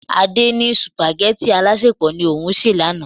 Adé ní supageti alasepo ni òun se lánàá.